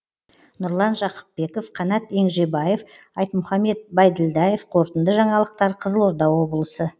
нұрлан жақыпбеков қанат еңжебаев айтмұхамед байділдаев қорытынды жаңалықтар қызылорда облысы